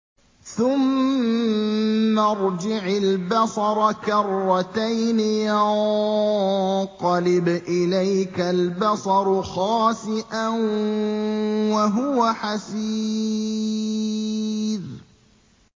ثُمَّ ارْجِعِ الْبَصَرَ كَرَّتَيْنِ يَنقَلِبْ إِلَيْكَ الْبَصَرُ خَاسِئًا وَهُوَ حَسِيرٌ